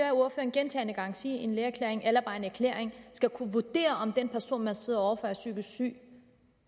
gentagne gange sige en lægeerklæring eller bare en erklæring skal kunne vurdere om den person man sidder over for er psykisk syg